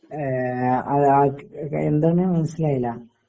ഏഹ് ആ ആർക്ക് കെ എന്താണ് മനസ്സിലായില്ല?